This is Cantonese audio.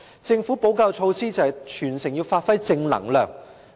政府的補救措施就是提出全城要發揮正能量。